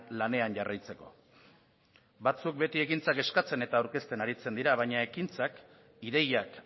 lanean jarraitzeko batzuk beti ekintzak eskatzen eta aurkezten aritzen dira baina ekintzak ideiak